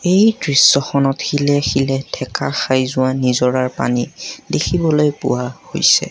এই দৃশ্যখনত শিলে শিলে ঠেকা খাই যোৱা নিজৰাৰ পানী দেখিবলৈ পোৱা হৈছে।